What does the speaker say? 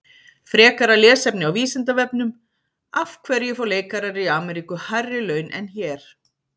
Frekara lesefni á Vísindavefnum: Af hverju fá leikarar í Ameríku hærri laun en hér?